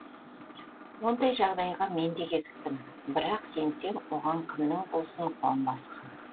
ондай жағдайға мен де кезіктім бірақ сенсең оған кімнің болсын қуанбасы хақ